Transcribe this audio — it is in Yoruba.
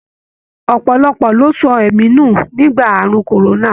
Ọpọlọpọ lo sọ ẹ̀mí nu nígbà àrùn korona.